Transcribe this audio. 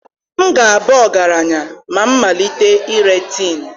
M ga-aba ọgaranya ma m malite ire tin